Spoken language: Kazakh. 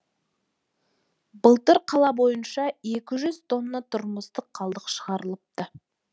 былтыр қала бойыныша екі жүз тонна тұрмыстық қалдық шығарылыпты